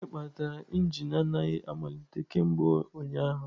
Gịnị kpatara injin anaghị amalite kemgbe ụnyaahụ?